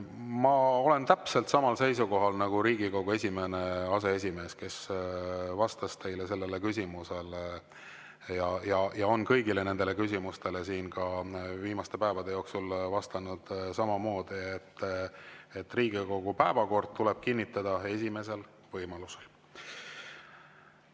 Ma olen täpselt samal seisukohal nagu Riigikogu esimene aseesimees, kes vastas teie küsimusele ja on vastanud kõigile küsimustele siin viimaste päevade jooksul samamoodi, et Riigikogu päevakord tuleb kinnitada esimesel võimalusel.